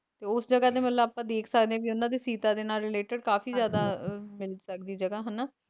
ਤੇ ਉਸ ਜਗਾਹ ਦਾ ਮਤਲਬ ਆਪਾ ਦੇਖ ਸਕਦੇ ਆ ਕੀ ਉਹਨਾਂ ਦੇ ਸੀਤਾ ਦੇ ਨਾਲ related ਕਾਫੀ ਜ਼ਿਆਦਾ ਮਿਲ ਸਕਦੀ ਜਗ੍ਹਾ ਹਨਾਂ